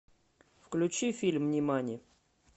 включи фильм нимани